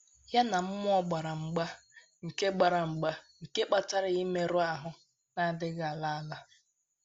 Ya na mmụọ gbara mgba nke gbara mgba nke kpataara ya mmerụ ahụ́ na - adịghị ala ala.